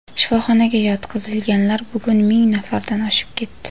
Shifoxonaga yotqizilganlar bugun ming nafardan oshib ketdi.